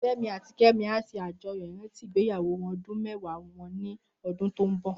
Femi àtí Kemi á ṣé àjóyó iràntí igbéyàwó òdún mèwá wòn ni òdún tó n bò